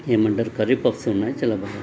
ఏమంటారు curry puffs ఉన్నాయ్ చాలా బాగున్నాయి.